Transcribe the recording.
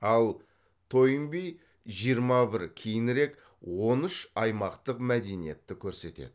ал тойнби жиырма бір кейінірек он үш аймақтық мәдениетті көрсетеді